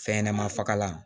Fɛnɲɛnɛma fagalan